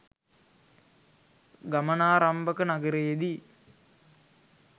ගමනාරම්භක නගරයේදී